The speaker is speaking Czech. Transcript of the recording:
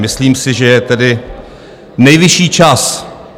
Myslím si, že je tedy nejvyšší čas.